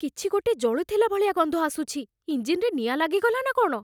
କିଛିଗୋଟେ ଜଳୁଥିଲା ଭଳିଆ ଗନ୍ଧ ଆସୁଛି । ଇଞ୍ଜିନ୍‌ରେ ନିଆଁ ଲାଗିଗଲା ନା କ'ଣ?